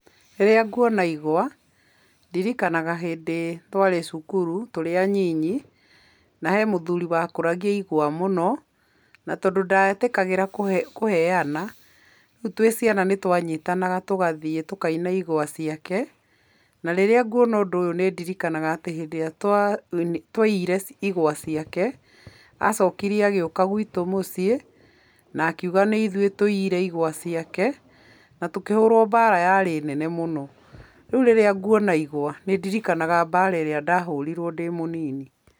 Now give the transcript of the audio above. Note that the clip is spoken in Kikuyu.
Rĩrĩa nguona igwa, ndirikana hĩndĩ twarĩ cukuru tũrĩ anyinyi, na he mũthuri wakũragia igwa mũno. Na tondũ ndetĩkagĩra kũheana, rĩu twĩ ciana nĩtwanyitanaga tũgathiĩ tũkauna igwa ciake. Na rĩrĩa nguona ũndũ ũyũ nĩ ndirikanaga hĩndĩ ĩrĩa twaiyire igwa ciake, acokire agĩũka gwitũ mũciĩ na akiuga nĩ ithuĩ tũiyire igwa ciake na tũkĩhũrwo mbara yarĩ nene mũno. Rĩu rĩrĩa nguona igwa nĩ ndirikanaga mbara ĩrĩa ndahũrirwo ndĩ mũnini.